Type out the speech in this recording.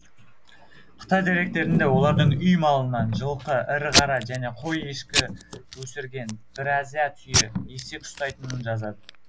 қытай деректерінде олардың үй малынан жылқы ірі қара және қой ешкі өсірген біразя түйе есек ұстайтынын жазады